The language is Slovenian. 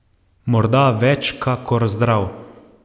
Morda več kakor zdrav.